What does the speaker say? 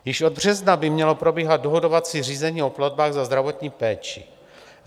Již od března by mělo probíhat dohodovací řízení o platbách za zdravotní péči.